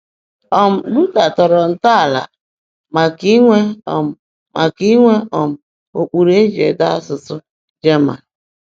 um Luther tọrọ ntọala maka inwe um maka inwe um ụkpụrụ e ji ede asụsụ German.